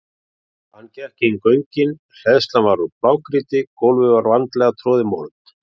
Hann gekk inn göngin, hleðslan var úr blágrýti, gólfið vandlega troðin mold.